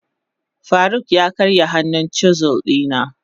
faruk ya karya hannun chisel dina.